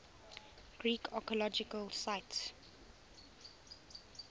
greek archaeological sites